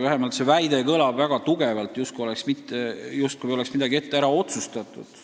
See väide kõlab väga tugevalt, justkui oleks midagi ette ära otsustatud.